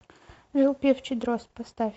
жил певчий дрозд поставь